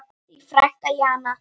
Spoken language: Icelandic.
Þín frænka Jana.